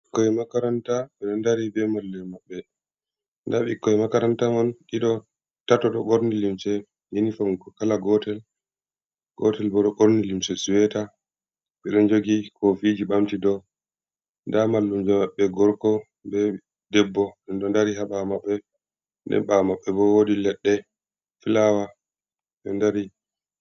Ɓikkoi makaranta ɓe ɗon dari ɓe mallu’en maɓɓe, nda ɓikkon makaranta man ɗiɗo, tato ɗo ɓorni limce yenifom kala gotel, gotel bo ɗo ɓorni limce sueta, ɓe ɗo jogi kofiji ɓamti dou, nda mallumjo maɓɓe gorko be debbo, ɓe ɗon ndari ha ɓawo maɓɓe, den ɓawo maɓɓe bo wodi leɗɗe filawa ɓeɗo ndari.